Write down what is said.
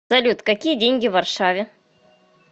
салют какие деньги в варшаве